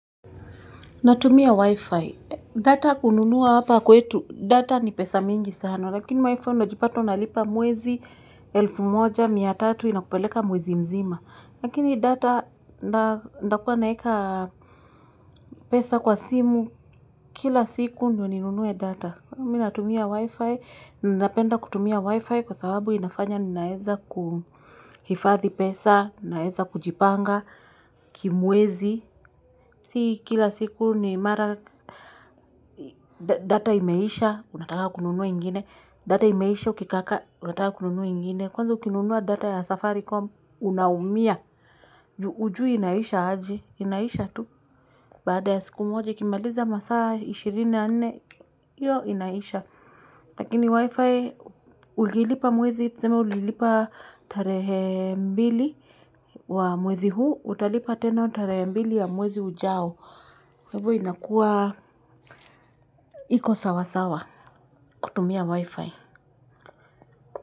Natumia Wi-Fi. Data kununua hapa kwetu. Data ni pesa mingi sana. Lakini Wi-Fi unajipata unalipa mwezi elfu moja, mia tatu inakupeleka mwezi mzima. Lakini data, ntakua naweka pesa kwa simu kila siku ndiyo ninunue data. Mimi natumia Wi-Fi. Napenda kutumia Wi-Fi kwa sababu inafanya ninaweza kuhifadhi pesa, naeza kujipanga kimwezi. Si kila siku ni mara data imeisha, unataka kununuwa ingine. Data imeisha, ukikaka, unataka kununuwa ingine. Kwanza ukinunuwa data ya safaricom, unaumia. Hujui inaisha aje, inaisha tu. Baada ya siku moja, ikimaliza masaa ishirini na nne hiyo inaisha. Lakini wifi, ukilipa mwezi, tuseme ulilipa tarehe mbili wa mwezi huu. Utalipa tena tarehe mbili wa mwezi ujao. Kwa hivo inakuwa iko sawasawa kutumia wifi.